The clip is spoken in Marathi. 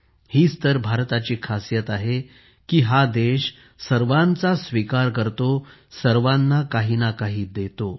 हीच तर भारताची खासियत आहे की हा देश सर्वांचा स्वीकार करतो सर्वांना काहीनाकाही देतो